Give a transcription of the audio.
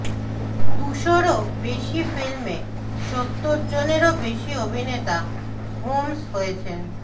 দুশোরও বেশি ফিল্মে সত্তর জনেরও বেশি অভিনেতা হোমস হয়েছেন